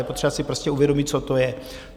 Je potřeba si prostě uvědomit, co to je.